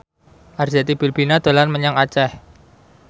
Arzetti Bilbina dolan menyang Aceh